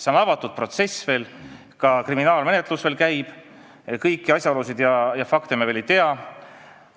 See on avatud protsess, ka kriminaalmenetlus veel käib ning kõiki asjaolusid ja fakte me ei tea.